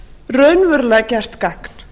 raunverulega gert gagn